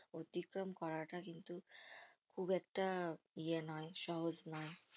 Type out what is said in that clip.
অতিক্রম করাটা কিন্তু খুব একটা ইয়ে নয় সহজ নয়